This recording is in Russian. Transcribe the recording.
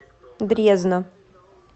дрезна